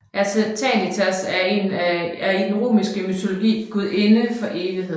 Aeternitas er i den romerske mytologi gudinde for evigheden